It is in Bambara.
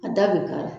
A da bɛ ka